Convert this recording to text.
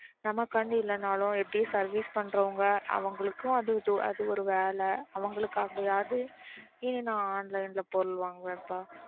நமக்காண்டி இல்லைனாலும் எப்படி service பண்றவங்க அவங்களுக்கும் அது ஒரு வேலை அவங்களுக்காவது நான் online ல பொருள் வாங்குவேன்பா.